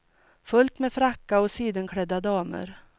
Fullt med frackar och sidenklädda damer.